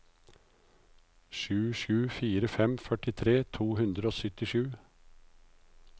sju sju fire fem førtitre to hundre og syttisju